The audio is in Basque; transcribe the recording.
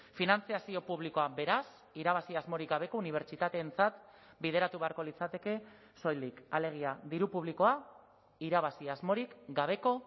finantzazio publikoa beraz irabazi asmorik gabeko unibertsitateentzat bideratu beharko litzateke soilik alegia diru publikoa irabazi asmorik gabeko